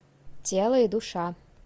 тело и душа